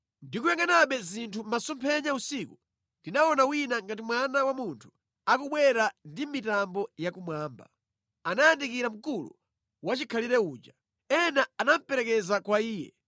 “Ndikuyangʼanabe zinthu mʼmasomphenya usiku, ndinaona wina ngati mwana wa munthu, akubwera ndi mitambo ya kumwamba. Anayandikira Mkulu Wachikhalire uja. Ena anamuperekeza kwa Iye.